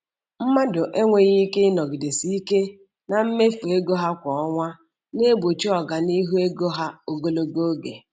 Mmadụ enweghị ike ịnọgidesi ike na mmefu ego ha kwa ọnwa na-egbochi ọganihu ego ha ogologo oge.